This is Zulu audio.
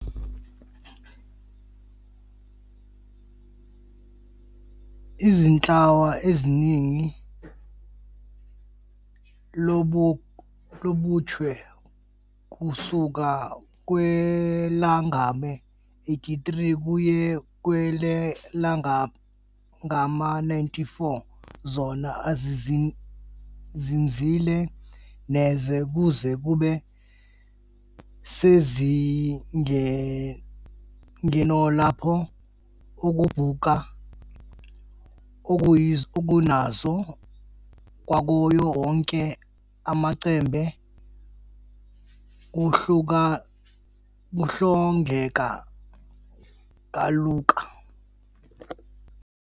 Izinhlwa ezinenani lobuchwe kusuka kwelangama-83 kuya kwelengama-94 zona azizinzile neze kuze kube sezingeno lapho ukubucuka okuyonzayo kwawo wonke amachembe kuhlongeka kalula.